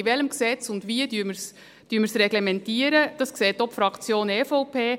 In welchem Gesetz und wie reglementieren wir es? – Das sieht auch die Fraktion EVP.